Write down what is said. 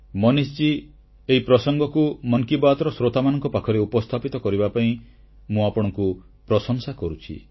ମନୀଷ ମହାଶୟ ଏହି ପ୍ରସଙ୍ଗକୁ ମନ୍ କି ବାତ୍ର ଶ୍ରୋତାମାନଙ୍କ ପାଖରେ ଉପସ୍ଥାପିତ କରିବା ପାଇଁ ମୁଁ ଆପଣଙ୍କ ପ୍ରଶଂସା କରୁଛି